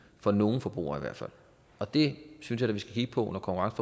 for nogle forbrugere i hvert fald det synes jeg vi skal kigge på når konkurrence